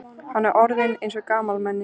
Hann er orðinn eins og gamalmenni.